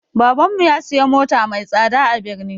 Baban mu ya siya mota mai tsada a birni